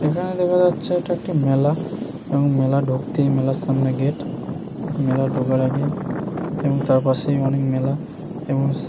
এখানে দেখা যাচ্ছে এটা একটি মেলা। এবং মেলা ঢুকতেই মেলার সামনে গেট মেলা ঢোকের আগে এবং তারপাশেই অনেক মেলা এবং --